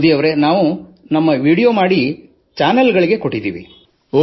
ಮೋದಿಯವರೇ ನಾವು ನಮ್ಮ ವಿಡಿಯೋ ಚಿತ್ರಿಕರಿಸಿ ಚಾನಲ್ ಗಳಿಗೆ ನೀಡಿದ್ದೇವೆ